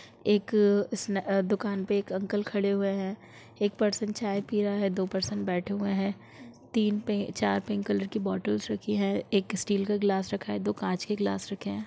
एक दुकान पे एक अंकल खड़े हुए है एक पर्सन चाय पी रहा है दो पर्सन बैठे हुए है तीन पे चार पिंक कलर की बॉटलस रखी है एक स्टील का गिलास रखा है और दो कांच में रखे है।